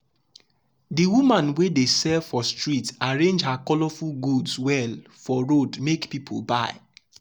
the woman wey dey sell for street arrange her colourful goods well for road make people buy.